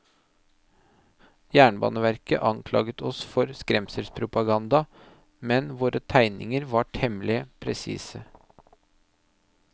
Jernbaneverket anklaget oss for skremselspropaganda, men våre tegninger var temmelig presise.